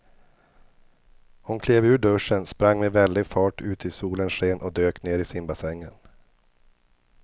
Hon klev ur duschen, sprang med väldig fart ut i solens sken och dök ner i simbassängen.